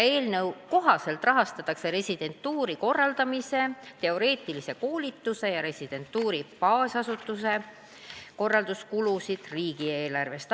Eelnõu kohaselt rahastatakse residentuuri korraldamise, teoreetilise koolituse ja residentuuri baasasutuse korraldamise kulusid riigieelarvest.